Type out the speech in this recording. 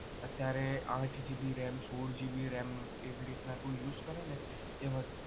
અત્યારે આઠ GB ram સોળ GB ram એવી રીતના તું use કરે ને એ વધારે